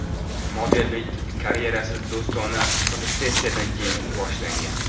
Modellik karyerasi do‘stona fotosessiyadan keyin boshlangan.